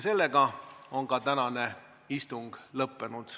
Sellega on tänane istung lõppenud.